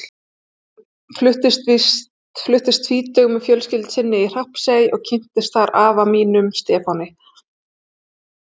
Hún fluttist tvítug með fjölskyldu sinni í Hrappsey og kynntist þar afa mínum, Stefáni.